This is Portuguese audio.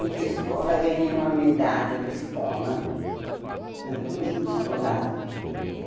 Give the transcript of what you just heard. Fui para a escola, ganhei uma medalha na escola, né no grupo escolar eh.